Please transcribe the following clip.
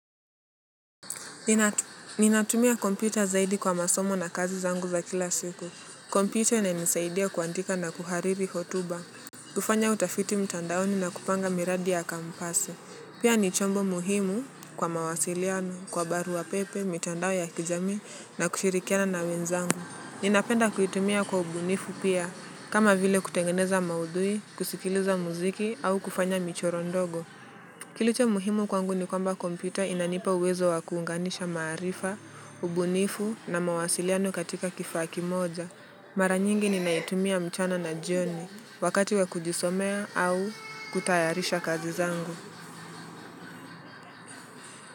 Ninatumia kompyuta zaidi kwa masomo na kazi zangu za kila siku, kompyuta ina nisaidia kuandika na kuhariri hotuba. Kufanya utafiti mtandaoni na kupanga miradi ya kampasi, pia nichombo muhimu kwa mawasiliano, kwa barua pepe, mtandao ya kijami na kushirikiana na wenzangu. Ninapenda kuitumia kwa ubunifu pia, kama vile kutengeneza maudhui, kusikiliza muziki au kufanya michoro ndogo. Kiliche muhimu kwangu ni kwamba kompyuta inanipa uwezo wa kuunganisha maarifa, ubunifu na mawasiliano katika kifaa kimoja. Mara nyingi ni naitumia mchana na jioni wakati wa kujisomea au kutayarisha kazi zangu.